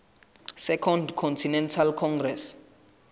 second continental congress